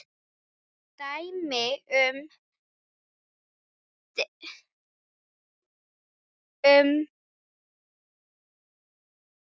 Dæmi um beina ræðu